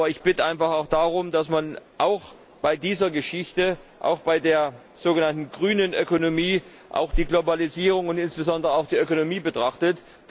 Aber ich bitte einfach darum, dass man auch bei dieser Geschichte, auch bei der sogenannten grünen Ökonomie, die Globalisierung und insbesondere auch die Ökonomie betrachtet.